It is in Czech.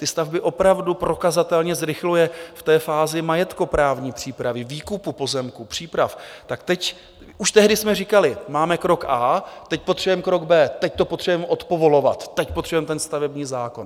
Ty stavby opravdu prokazatelně zrychluje v té fázi majetkoprávní přípravy, výkupu pozemků, příprav, tak teď... už tehdy jsme říkali, máme krok a, teď potřebujeme krok B, teď to potřebujeme odpovolovat, teď potřebujeme ten stavební zákon.